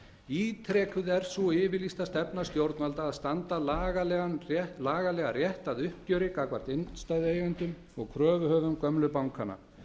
ítrekuð er sú yfirlýsta stefna stjórnvalda að standa lagalega rétt að uppgjöri gagnvart innstæðueigendum og kröfuhöfum gömlu bankanna